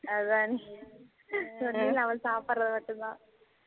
அதனா நம்ம சாப்புடுறது மட்டும் தான்